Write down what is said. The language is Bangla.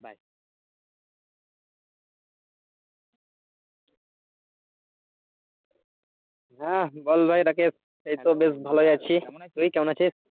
হ্যা বল ভাই রাকিব এইতো বেশ ভালোই আছি তুই কেমন আছিস?